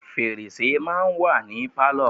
Fèrèsé máa ń wà ní Pálọ̀.